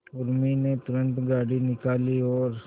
उर्मी ने तुरंत गाड़ी निकाली और